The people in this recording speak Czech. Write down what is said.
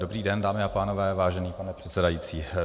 Dobrý den, dámy a pánové, vážený pane předsedající.